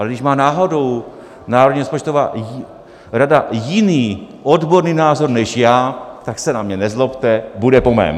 Ale když má náhodou Národní rozpočtová rada jiný odborný názor než já, tak se na mě nezlobte, bude po mém.